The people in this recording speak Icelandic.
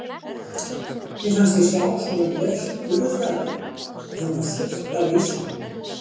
Mér fannst ég sjá svona rautt burðarrúm og það var fullt af ísmolum.